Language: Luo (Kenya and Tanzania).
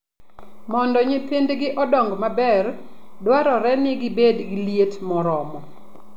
Mondo nyithindgi odong maber, dwarore ni gibed gi liet moromo.